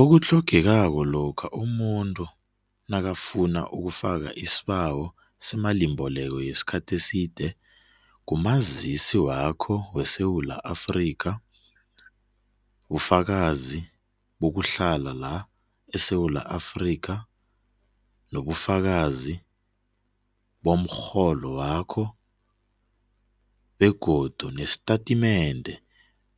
Okuthlogekako lokha umuntu nakabafuna ukufaka isibawo seemalimbeleko yesikhathi eside, ngumazisi wakho weSewula Afrika, bufakazi bokuhlala la eSewula Afrika, nobufakazi bomrholo wakho begodu nestatimende